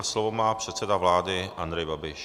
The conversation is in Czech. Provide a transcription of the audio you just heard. A slovo má předseda vlády Andrej Babiš.